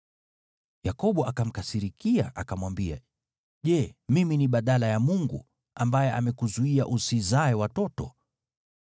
Yakobo akamkasirikia, akamwambia, “Je, mimi ni badala ya Mungu, ambaye amekuzuia usizae watoto?”